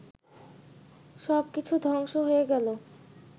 সব কিছু ধ্বংস হয়ে গেল